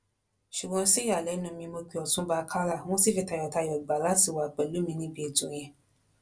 ṣùgbọ́n sí ìyàlẹ́nu mi mọ pé ọ̀túnba akálà wọ́n ṣì fi tayọ̀tayọ̀ gbà láti wà pẹ̀lú mi níbi ètò yẹn